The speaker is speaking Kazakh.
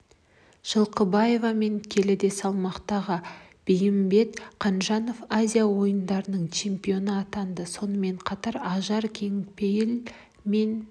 жылқыбаева мен келіде салмақтағы бейімбет қанжанов азия ойындарының чемпионы атанды сонымен қатар ажар кеңпейіл мен